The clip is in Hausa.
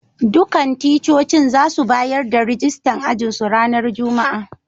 Dukan ticcocin za su bayar da rijistan ajin su ranan Juma'a.